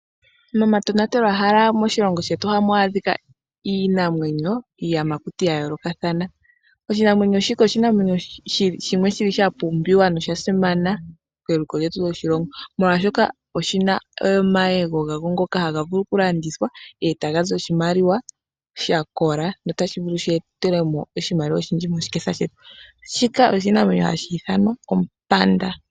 Momatonatelwahala moshilongo shetu ohamu adhika iinamwenyo, iiyamakuti ya yoolokathana. Oshinamwenyo shika osha pumbiwa nosha simana keliko lyetu lyoshilongo, molwashoka oshi na omayego ngoka haga vulu okulandithwa e taga zi oshimaliwa sha kola notashi vulu shi ete mo oshimaliwa oshindji moshiketha shetu. Oshinamwenyo shika ohashi ithanwa ompanda.